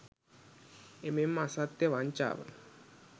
එමෙන්ම අසත්‍යය වංචාව